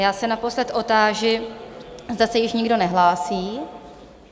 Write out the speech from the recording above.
Já se naposled otáži, zda se již nikdo nehlásí?